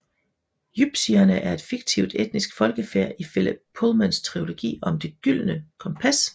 Jypsierne er et fiktivt etnisk folkefærd i Philip Pullmans trilogi om Det gyldne kompas